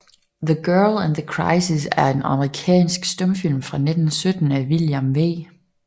The Girl and the Crisis er en amerikansk stumfilm fra 1917 af William V